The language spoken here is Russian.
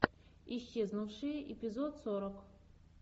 исчезнувшие эпизод сорок